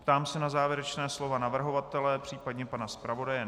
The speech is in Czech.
Ptám se na závěrečná slova navrhovatele případně pana zpravodaje.